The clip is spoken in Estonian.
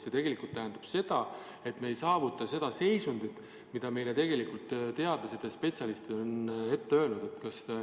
See tegelikult tähendab seda, et me ei saavuta seda seisundit, mida teadlased ja spetsialistid vajalikuks peavad.